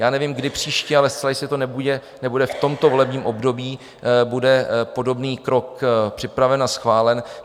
Já nevím, kdy příště, ale zcela jistě to nebude v tomto volebním období, bude podobný krok připraven a schválen.